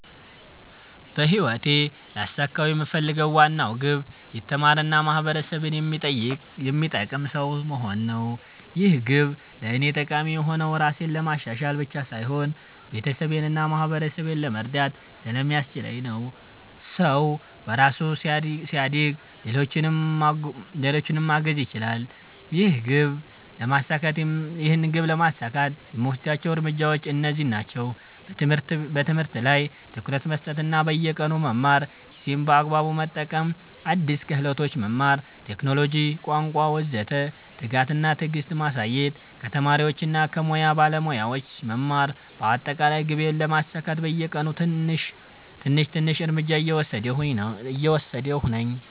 በህይወቴ ልያሳካው የምፈልገው ዋና ግብ የተማረ እና ማህበረሰብን የሚጠቅም ሰው መሆን ነው። ይህ ግብ ለእኔ ጠቃሚ የሆነው ራሴን ለማሻሻል ብቻ ሳይሆን ቤተሰቤን እና ማህበረሰቤን ለመርዳት ስለሚያስችለኝ ነው። ሰው በራሱ ሲያድግ ሌሎችንም ማገዝ ይችላል። ይህን ግብ ለማሳካት የምወስዳቸው እርምጃዎች እነዚህ ናቸው፦ በትምህርት ላይ ትኩረት መስጠት እና በየቀኑ መማር ጊዜን በአግባቡ መጠቀም አዲስ ክህሎቶች መማር (ቴክኖሎጂ፣ ቋንቋ ወዘተ) ትጋት እና ትዕግስት ማሳየት ከተማሪዎች እና ከሙያ ባለሞያዎች መማር በአጠቃላይ ግቤን ለማሳካት በየቀኑ ትንሽ ትንሽ እርምጃ እየወሰድሁ ነኝ።